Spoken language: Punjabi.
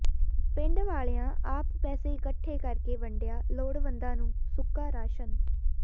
ਪਿੰਡ ਵਾਲਿਆਂ ਆਪ ਪੈਸੇ ਇਕੱਠੇ ਕਰਕੇ ਵੰਡਿਆ ਲੋੜਵੰਦਾਂ ਨੂੰ ਸੁੱਕਾ ਰਾਸ਼ਨ